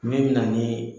Min mɛna ni